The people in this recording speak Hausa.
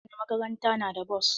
Kowane makaranta na da bos.